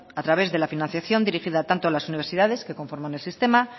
a través de la financiación dirigida tanto a las universidades que conforman el sistema